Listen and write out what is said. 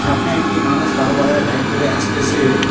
সামনে একটি মানুষ কালো কালার -এর বাইক ধরে আসতেসে।